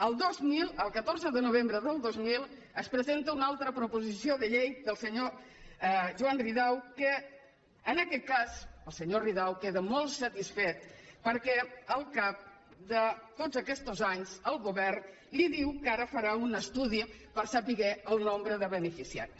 el dos mil el catorze de novembre del dos mil es presenta una altra proposició de llei del senyor joan ridao que en aquest cas el senyor ridao queda molt satisfet perquè al cap de tots aquestos anys el govern li diu que ara farà un estudi per saber el nombre de beneficiaris